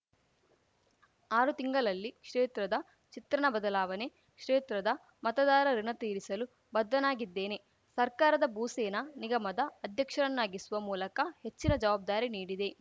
ಆರು ತಿಂಗಳಲ್ಲಿ ಕ್ಷೇತ್ರದ ಚಿತ್ರಣ ಬದಲಾವಣೆ ಕ್ಷೇತ್ರದ ಮತದಾರರ ಋುಣ ತೀರಿಸಲು ಬದ್ಧನಾಗಿದ್ದೇನೆ ಸರ್ಕಾರ ಭೂ ಸೇನಾ ನಿಗಮದ ಅಧ್ಯಕ್ಷರನ್ನಾಗಿಸುವ ಮೂಲಕ ಹೆಚ್ಚಿನ ಜವಾಬ್ದಾರಿ ನೀಡಿದೆ